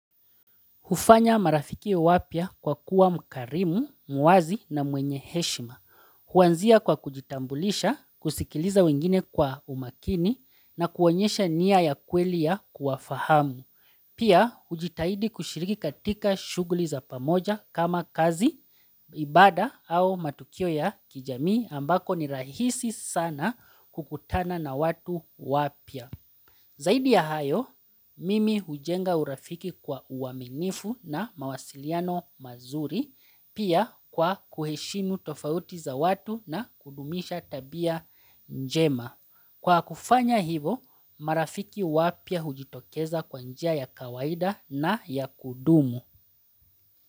Hufanya marafiki wapya kwa kuwa mkarimu, muazi na mwenye heshima. Huanzia kwa kujitambulisha, kusikiliza wengine kwa umakini na kuonyesha niya ya kweli ya kuwafahamu. Pia, ujitahidi kushiriki katika shuguli za pamoja kama kazi, ibada au matukio ya kijamii ambako ni rahisi sana kukutana na watu wapya. Zaidi ya hayo, mimi hujenga urafiki kwa uwaminifu na mawasiliano mazuri pia kwa kuheshimu tofauti za watu na kudumisha tabia njema. Kwa kufanya hivo, marafiki wapya hujitokeza kwa njia ya kawaida na ya kudumu.